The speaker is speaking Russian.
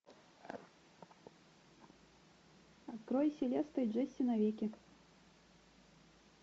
открой селеста и джесси навеки